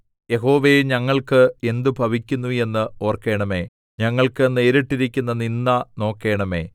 യഹോവേ ഞങ്ങൾക്ക് എന്ത് ഭവിക്കുന്നു എന്ന് ഓർക്കേണമേ ഞങ്ങൾക്ക് നേരിട്ടിരിക്കുന്ന നിന്ദ നോക്കേണമേ